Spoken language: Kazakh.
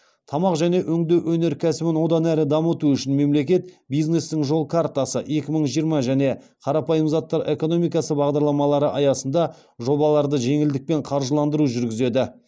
тамақ және өңдеу өнеркәсібін одан әрі дамыту үшін мемлекет бизнестің жол картасы екі мың жиырма және қарапайым заттар экономикасы бағдарламалары аясында жобаларды жеңілдікпен қаржыландыру жүргізеді